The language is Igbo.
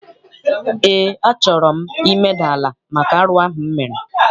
Eé, a chọrọ m imeda ala maka arụ ahụ m mere.